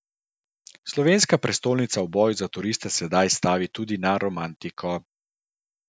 Slovenska prestolnica v boju za turiste sedaj stavi tudi na romantiko.